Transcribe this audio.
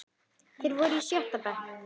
Þeir voru í sjötta bekk.